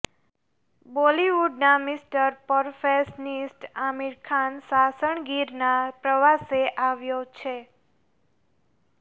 બોલીવુડના mister perfectionist Aamir Khan Sasan ગીરના પ્રવાસે આવ્યો છે